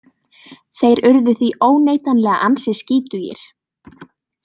Þeir urðu því óneitanlega ansi skítugir.